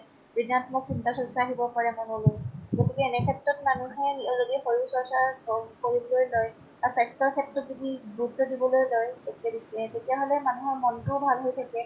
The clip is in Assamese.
ৠনাত্মক চিন্তা চৰ্চা আহিব পাৰে মনলৈ, গতিকে এনে ক্ষেত্ৰত মানুহে নিজৰ জদি শৰীৰ চৰ্চা ক কৰিবলৈ লয় আ স্ৱাস্থ্য ক্ষেত্ৰত যদি গুৰুত্ৱ দিবলৈ লয়, তে তেতিয়া হলে মানুহৰ মনটোও ভাল হয় থাকে